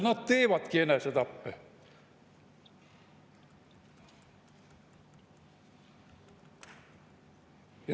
Nad teevadki enesetappe.